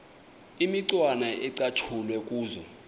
imicwana ecatshulwe kuzo